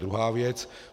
Druhá věc.